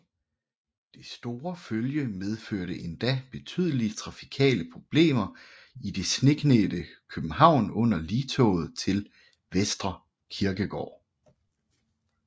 Det store følge medførte endda betydelige trafikale problemer i det sneklædte København under ligtoget til Vestre Kirkegård